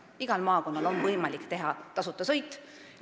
Igal maakonnal on võimalik korraldada tasuta sõitu.